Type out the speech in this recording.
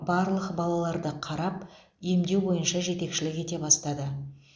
барлық балаларды қарап емдеу бойынша жетекшілік ете бастады